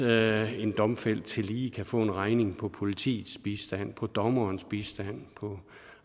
at en domfældt tillige kan få en regning på politiets bistand på dommerens bistand på